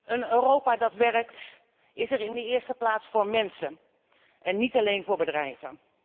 Een Europa dat werkt is er in de eerste plaats voor mensen en niet alleen voor bedrijven.